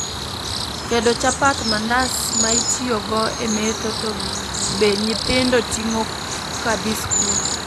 Tedo chapat, mandas ma itiyo go e metho to be nyithindo ting'o kadhi skul